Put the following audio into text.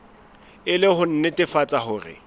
e le ho nnetefatsa hore